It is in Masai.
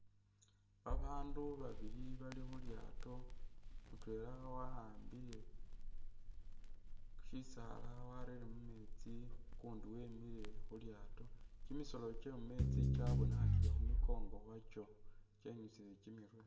Babandu babili bali khulyaato ,mutwela wa'ambile shisaala warere mumeetsi ukundi wemile khulyaato ,Kimisoolo kywe mumeetsi kyabonekhakile khu'mikongo khwakyo kyenyusile kyimirwe